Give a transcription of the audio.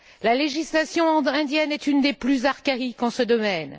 La législation indienne est une des plus archaïques en ce domaine.